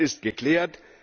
Das ist geklärt.